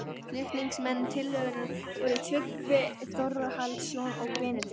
Flutningsmenn tillögunnar voru Tryggvi Þórhallsson og Benedikt